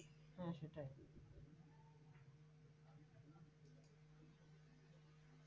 হম সেটাই